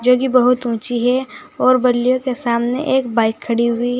जो कि बहुत ऊंची है और बल्लियों के सामने एक बाइक खड़ी हुई है।